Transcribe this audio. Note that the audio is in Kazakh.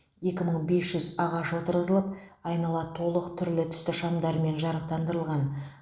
екі мың бес жүз ағаш отырғызылып айнала толық түрлі түсті шамдармен жарықтандырылған